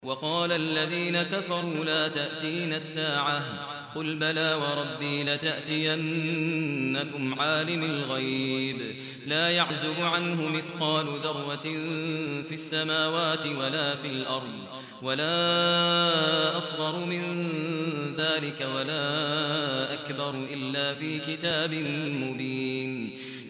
وَقَالَ الَّذِينَ كَفَرُوا لَا تَأْتِينَا السَّاعَةُ ۖ قُلْ بَلَىٰ وَرَبِّي لَتَأْتِيَنَّكُمْ عَالِمِ الْغَيْبِ ۖ لَا يَعْزُبُ عَنْهُ مِثْقَالُ ذَرَّةٍ فِي السَّمَاوَاتِ وَلَا فِي الْأَرْضِ وَلَا أَصْغَرُ مِن ذَٰلِكَ وَلَا أَكْبَرُ إِلَّا فِي كِتَابٍ مُّبِينٍ